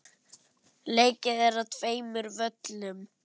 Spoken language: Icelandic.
Leikið er á tveimur völlum.